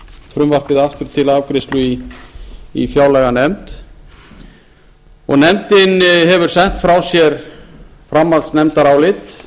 frumvarpið aftur til afgreiðslu í fjárlaganefnd og nefndin hefur sent frá sér framhaldsnefndarálit